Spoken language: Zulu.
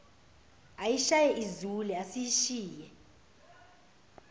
ayishaye izule asishiye